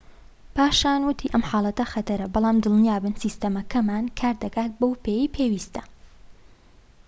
پاشان وتی ئەم حاڵەتە خەتەرە بەڵام دڵنیابن سیستەمەکەمان کار دەکات بەو پێیەی پێویستە